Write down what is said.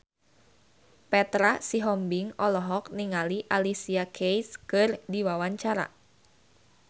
Petra Sihombing olohok ningali Alicia Keys keur diwawancara